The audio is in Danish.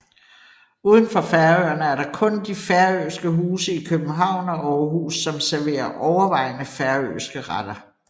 Uden for Færøerne er der kun de færøske huse i København og Aarhus som serverer overvejende færøske retter